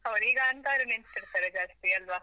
ಹೌದು, ಈಗ ಅಂತವರೇ ನೆನಪಿರ್ತಾರೆ ಜಾಸ್ತಿ ಅಲ್ವಾ?